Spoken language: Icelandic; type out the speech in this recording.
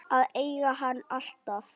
Að eiga hann alltaf.